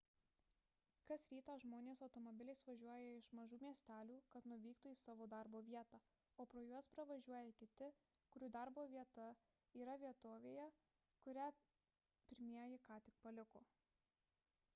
kas rytą žmonės automobiliais išvažiuoja iš mažų miestelių kad nuvyktų į savo darbo vietą o pro juos pravažiuoja kiti kurių darbo vieta yra vietovėje kurią pirmieji ką tik paliko